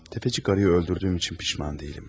Sələmçi arvadı öldürdüyüm üçün peşman deyiləm.